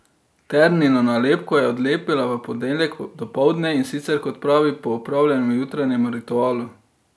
Ternino nalepko je odlepila v ponedeljek dopoldne, in sicer, kot pravi, po opravljenem jutranjem ritualu.